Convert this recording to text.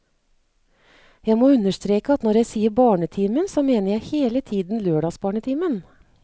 Jeg må understreke at når jeg sier barnetimen, så mener jeg hele tiden lørdagsbarnetimen.